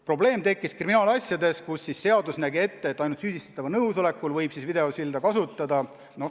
Probleem tekkiski kriminaalasjade puhul, kus seadus nägi ette, et ainult süüdistatava nõusolekul võib videosilda kasutada.